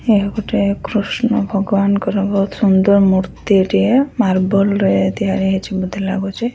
ଏହା ଗୋଟେ କୃଷ୍ଣ ଭଗବାନଙ୍କର ବହୁତ ସୁନ୍ଦର ମୂର୍ତ୍ତି ଟିଏ ମାର୍ବଲ ରେ ତିଆରି ହେଇଚି ବୋଧେ ଲାଗୁଚି।